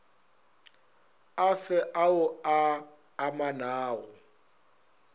a fe ao a amanago